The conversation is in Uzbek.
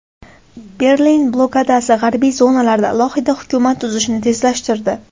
Berlin blokadasi g‘arbiy zonalarda alohida hukumat tuzishni tezlashtirdi.